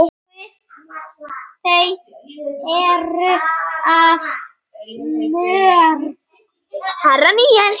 Guð, þau eru of mörg.